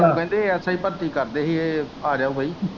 ਕਹਿੰਦੇ ASI ਆਜੋ ਬਈ।